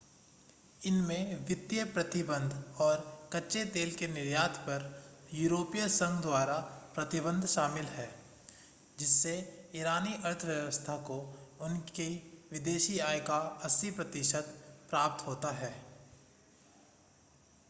इनमें वित्तीय प्रतिबंध और कच्चे तेल के निर्यात पर यूरोपीय संघ द्वारा प्रतिबंध शामिल है जिससे ईरानी अर्थव्यवस्था को उनकी विदेशी आय का 80% प्राप्त होता है